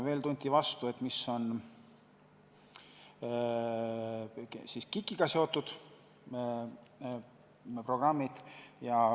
Veel tunti huvi, mis on KIK-iga seotud programmid.